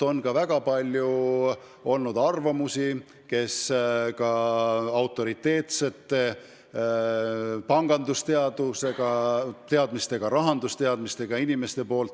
On ka väga palju olnud teistsuguseid arvamusi, mida on avaldanud autoriteetsed pangandus- ja üldse rahandusteadmistega inimesed.